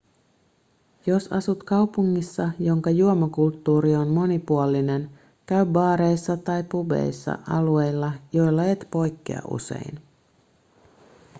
jos asut kaupungissa jonka juomakulttuuri on monipuolinen käy baareissa tai pubeissa alueilla joilla et poikkea usein